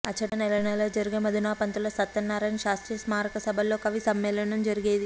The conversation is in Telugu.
అచట నెలనెలా జరిగే మధునాపంతుల సత్యనారాయణ శాస్త్రి స్మారక సభల్లో కవి సమ్మేళనం జరిగేది